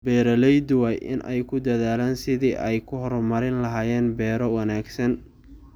Beeraleydu waa inay ku dadaalaan sidii ay u horumarin lahaayeen beero wanaagsan.